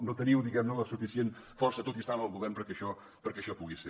no teniu diguem ne la suficient força tot i estar en el govern perquè això pugui ser